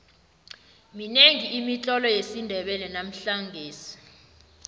minengi imitlolo yesindebele namhlangesi